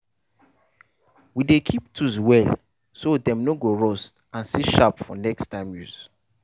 we dey keep tools well so dem no go rust and still sharp for next time use.